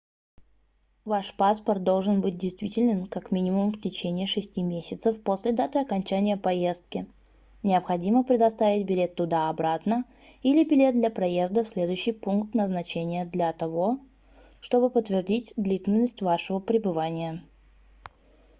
ваш паспорт должен быть действителен как минимум в течение 6 месяцев после даты окончания поездки необходимо предоставить билет туда-обратно или билет для проезда в следующий пункт назначения для того чтобы подтвердить длительность вашего пребывания